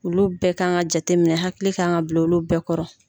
Olu bɛɛ kan ka jate minɛ hakili kan ka bila olu bɛɛ kɔrɔ.